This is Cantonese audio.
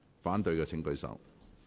反對的請舉手。